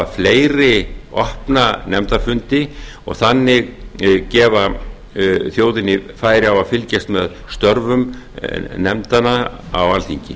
fleiri opna nefndarfundi og þannig gefa þjóðinni færi á að fylgjast með störfum nefndanna á alþingi